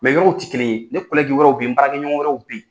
yɔrɔw ti kelen ye ne wɛrɛw bɛ ye n baarakɛ ɲɔgɔn wɛrɛw bɛ ye.